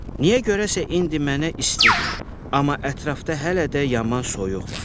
Niyə görəsə indi mənə istidir, amma ətrafda hələ də yaman soyuq var.